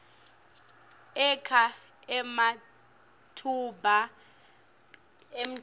akha ematfuba emdebenti